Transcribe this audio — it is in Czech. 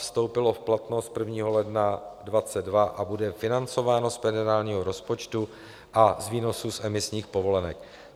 Vstoupilo v platnost 1. ledna 2022 a bude financováno z federálního rozpočtu a z výnosu z emisních povolenek.